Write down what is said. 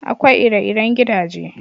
Akwai ire-iren gidaje.